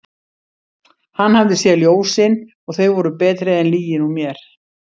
Hann hafði séð ljósin og þau voru betri en lygin úr mér.